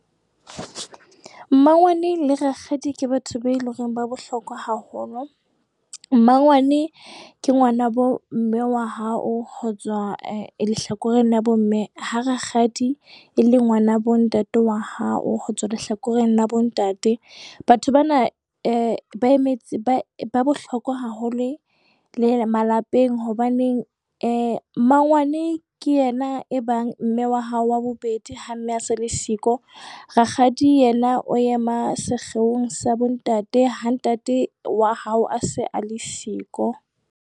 Mmangwane le rakgadi ke batho be leng hore ba bohlokwa haholo. Mmangwane ke ngwanabo mme wa hao ho tswa lehlakoreng la bomme. Ha rakgadi e le ngwanabo ntate wa hao ho tswa lehlakoreng la bontate. Batho bana ba emetse ba bohlokwa haholo e le malapeng. Hobaneng mmangwane ke yena e bang mme wa hao wa bobedi ha mme a se le siko. Rakgadi yena o ema sekgeong sa bontate ha ntate wa hao a se a le siko.